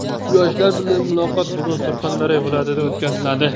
Yoshlar bilan muloqot bugun Surxondaryo viloyatida o‘tkaziladi.